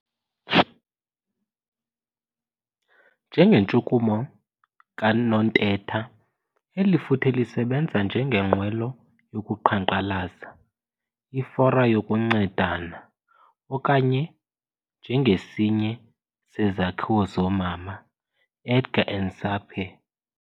Njengentshukumo kaNontetha, eli futhe lisebenza njengenqwelo yokuqhankqalaza, ifora yokuncedana, okanye njengesinye sezakhiwo zoomama.', Edgar and Sapire.